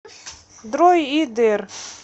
дроидер